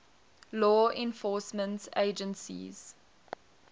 law enforcement agencies